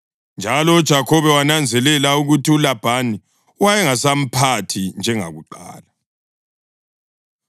Njalo uJakhobe wananzelela ukuthi uLabhani wayengasamphathi njengakuqala.